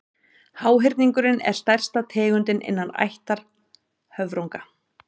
háhyrningurinn er stærsta tegundin innan ættar höfrunga